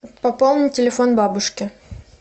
пополни телефон бабушки